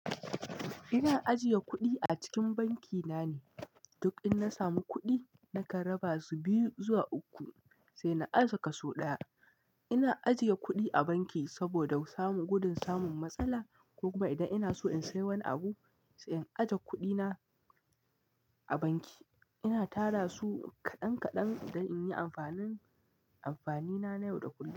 Ina ajiye kuɗi a cikin banki na ne, duk in na samu kuɗi na kan raba su biyu zuwa uku sai na ajiye kaso ɗaya. Ina ajiye kuɗi a banki saboda samu gudun samun matsala ko kuma idan ina so in sai wani abu sai in aje kuɗi na a banki. Ina tara su kaɗan kaɗan don in yi amfanin amfani na na yau da kullum.